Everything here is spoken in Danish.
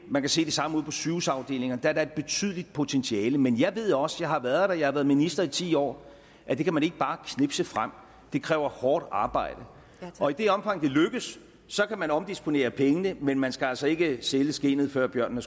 man kan se det samme ude på sygehusafdelingerne der er da et betydeligt potentiale men jeg ved også for jeg har været der jeg har været minister i ti år at det kan man ikke bare knipse frem det kræver hårdt arbejde og i det omfang det lykkes kan man omdisponere pengene men man skal altså ikke sælge skindet før bjørnen